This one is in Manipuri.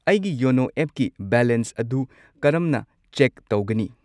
ꯑꯩꯒꯤ ꯌꯣꯅꯣ ꯑꯦꯞꯀꯤ ꯕꯦꯂꯦꯟꯁ ꯑꯗꯨ ꯀꯔꯝꯅ ꯆꯦꯛ ꯇꯧꯒꯅꯤ?